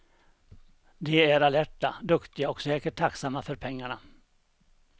De är alerta, duktiga och säkert tacksamma för pengarna.